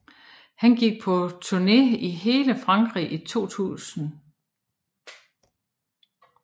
Han gik på turné i hele Frankrig i 2000